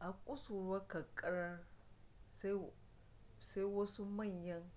a kusuruwar kankarar sai wasu manyan